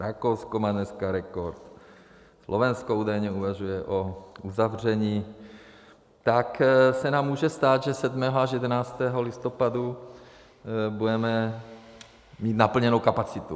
Rakousko má dneska rekord, Slovensko údajně uvažuje o uzavření, tak se nám může stát, že 7. až 11. listopadu budeme mít naplněnou kapacitu.